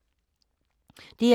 DR2